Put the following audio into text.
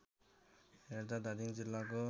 हेर्दा धादिङ जिल्लाको